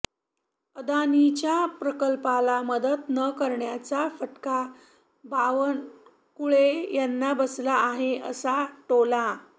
अदानींच्या प्रकल्पाला मदत न करण्याचा फटका बावनकुळे यांना बसला आहे असा टोला